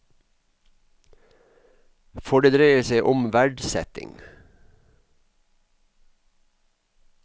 For det dreier seg om verdsetting.